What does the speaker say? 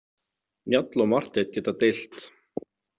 Njáll og Marteinn geta deilt.